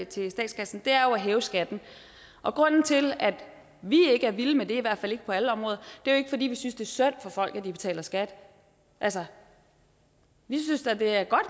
til statskassen det er jo at hæve skatten og grunden til at vi ikke er vilde med det i hvert fald ikke på alle områder er jo ikke fordi vi synes det er synd for folk at de betaler skat altså vi synes da det er godt